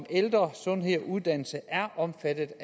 ældre sundhed og uddannelse er omfattet